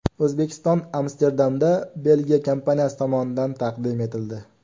O‘zbekiston Amsterdamda Belgiya kompaniyasi tomonidan taqdim etildi.